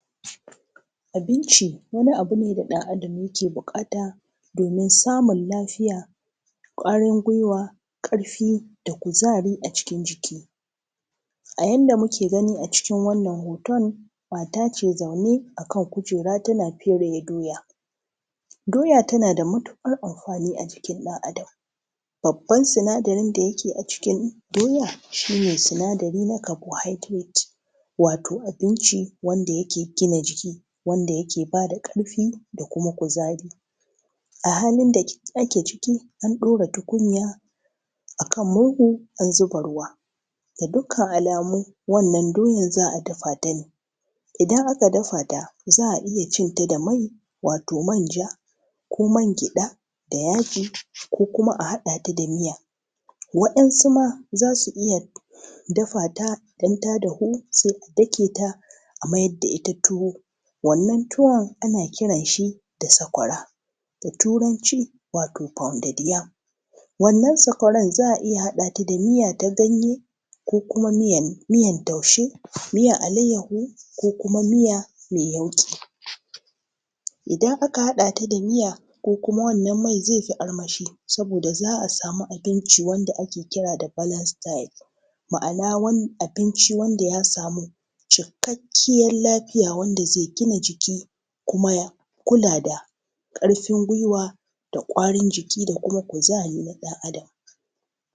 Abinci wani abu ne da ɗan Adam yake buƙata domin samun lafiya, ƙwarin gwiwwa ƙarfi da kuzari a cikin jiki, A yadda muke gani a cikin wannan hoto mata ce zaune a kan kujera ta fere doya, Doya tana da matuƙar amfani a jikin ɗan Adam, Babban sinadarin da yake a cikin doya shi ne sinadari na (carbohydrate) wato abnici wanda yake gina jiki, Wanda yake bada ƙarfi da kuma kuzari a halin da ake ciki an ɗora a tukunya a kan murhu an zuba ruwa, Ga dukkan alamu wannan doyan za a dafa ta ne, Idan aka dafa ta za a iya cin ta da mai wato manja ko mangyaɗa da yaji ko kuma a haɗa ta da miya, Waɗansu ma zasu iya dafa ta su daka ta a mayar da ita tuwo, Wannan tuwon ana kiran shi da sakwara da turanci wato (pounded yam), Wannan sakwaran za a iya haɗa ta da miya ta ganye ko kuma miyan taushe, miyan alayyahu ko kuma miya mai yauƙi, Idan aka haɗa ta da miya ko kuma mai, zai fi armashi Saboda za a samu abinci wanda ake kira da (Balance diet), wato abinci wanda zai gina jiki kuma ya kula da ƙarfin gwiwwa da ƙwarin jiki da kuma kuzarin ɗan Adam.